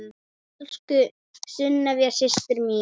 Elsku Sunneva systir mín.